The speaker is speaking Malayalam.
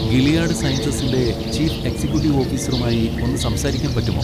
ഗിലിയാഡ് സയൻസസിൻ്റെ ചീഫ് എക്സിക്കൂട്ടീവ് ഓഫിസറുമായി ഒന്ന് സംസാരിക്കാൻ പറ്റുമോ?